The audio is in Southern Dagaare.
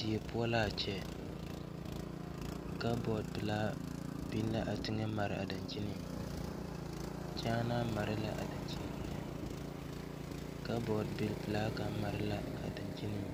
Die poɔ laa kyɛ kabɔɔd pilaa biŋ la teŋɛ maraa dankyiniŋ kyaanaa mare la a dankyini eŋɛ kabɔɔd bilpilaa kaŋ mare la a dankyiniŋ